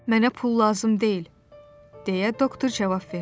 "Mənə pul lazım deyil," deyə doktor cavab verdi.